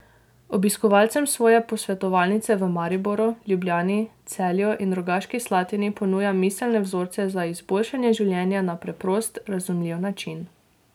Obiskovalcem svoje posvetovalnice v Mariboru, Ljubljani, Celju in Rogaški Slatini ponuja miselne vzorce za izboljšanje življenja na preprost, razumljiv način.